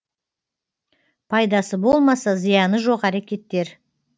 пайдасы болмаса зияны жоқ әрекеттер